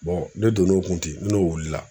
ne donn'o kun ten n'o wilila